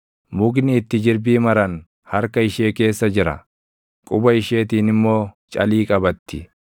Mukni itti jirbii maran harka ishee keessa jira; quba isheetiin immoo calii qabatti.